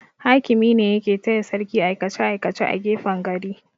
Hakimi ne yake taya sarki aikace-aikace a gefen gari.